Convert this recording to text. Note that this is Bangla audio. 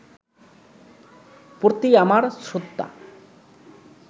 প্রতি আমার শ্রদ্ধা